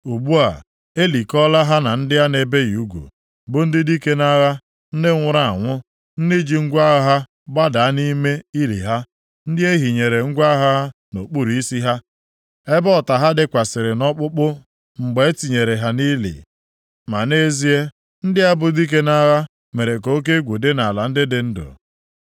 Ugbu a, e likọọla ha na ndị a na-ebighị ugwu, bụ ndị dike nʼagha, ndị nwụrụ anwụ, ndị ji ngwa agha ha gbadaa nʼime ili ha, ndị e hinyere ngwa agha ha nʼokpuru isi ha, ebe ọta + 32:27 Eleghị anya ihe a ga-agụta nʼakwụkwọ Hibru; ya bụ akwụkwọ Masoreti ga-abụ ntaramahụhụ ha dịkwasịrị nʼọkpụkpụ ha ha dịkwasịrị nʼọkpụkpụ mgbe e tinyere ha nʼili. Ma nʼezie, ndị a bụ dike nʼagha mere ka oke egwu dị nʼala ndị dị ndụ.